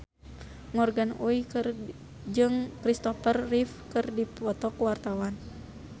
Morgan Oey jeung Christopher Reeve keur dipoto ku wartawan